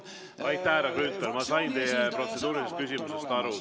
Aitäh, härra Grünthal, ma sain teie protseduurilisest küsimusest aru.